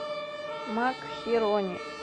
макхерони